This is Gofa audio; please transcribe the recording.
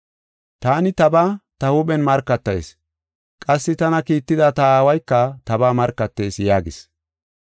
Taani tabaa ta huuphen markatayis; qassi tana kiitida ta Aawayka tabaa markatees” yaagis.